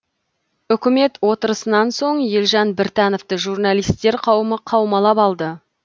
үкімет отырысынан соң елжан біртановты журналистер қауымы қаумалап алды